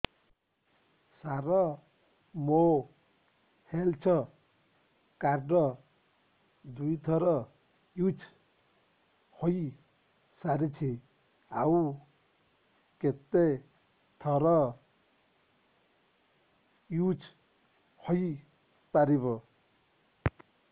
ସାର ମୋ health card ଦୁଇ ଥର ୟୁଜ଼ ହୈ ସାରିଛି ଆଉ କେତେ ଥର ୟୁଜ଼ ହୈ ପାରିବ